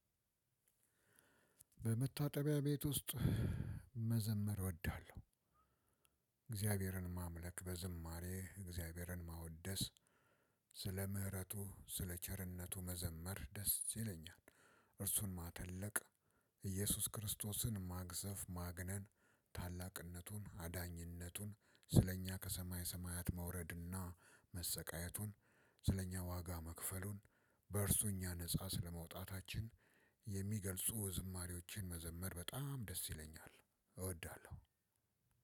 በመታጠቢያ ቤት ውስጥ መዘመር እወዳለሁ። እግዚአብሔርን ማምለክ በዝማሬ እግዚአብሔርን ማወደስ ስለ ምህረቱ ስለ ቸርነቱ መዘመር ደስ ይለኛል። እርሱን ማተለቅ። ኢየሱስ ክርስቶስን ማግዘፍ ማግነን ታላቅነቱን አዳኝነቱን ስለእኛ ከሰማይ ሰማያት መውረድና ስለኛ ዋጋ መክፈሉን በእርሱ እኛ ነፃ ስለመውጣታችን የሚገልጹ ዝማሬዎችን መዘመር በጣም ደስ ይለኛል እወዳለሁ።